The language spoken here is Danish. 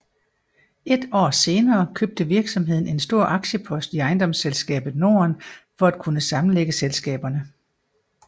Et år senere købte virksomheden en stor aktiepost i Ejendomsselskabet Norden for at kunne sammenlægge selskaberne